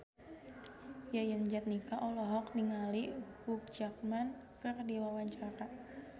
Yayan Jatnika olohok ningali Hugh Jackman keur diwawancara